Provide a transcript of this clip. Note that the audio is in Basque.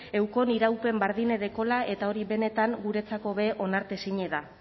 eukon iraupen bardine dekola eta hori benetan guretzako be ere onartezine da